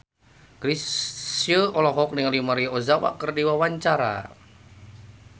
Chrisye olohok ningali Maria Ozawa keur diwawancara